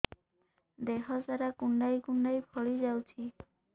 ଦେହ ସାରା କୁଣ୍ଡାଇ କୁଣ୍ଡାଇ ଫଳି ଯାଉଛି